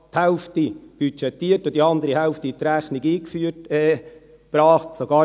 » Man budgetierte sogar die Hälfte und brachte die andere Hälfte in die Rechnung ein.